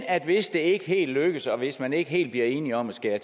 at hvis det ikke helt lykkes og hvis man ikke helt bliver enige om at skære